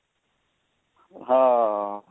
ਹਾਂ